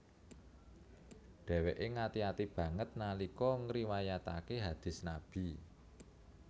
Dheweke ngati ati banget nalika ngriwayatake hadist Nabi